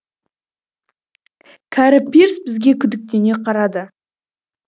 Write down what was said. кәрі пирс бізге күдіктене қарады